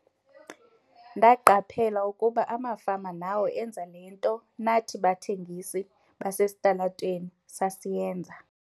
"Ndaqaphela ukuba amafama nawo enza le nto nathi bathengisi basesitalatweni sasiyenza."